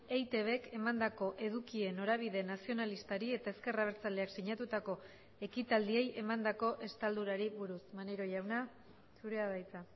eitbk emandako edukien norabide nazionalistari eta ezker abertzaleak sinatutako ekitaldiei emandako estaldurari buruz maneiro jauna zurea da hitza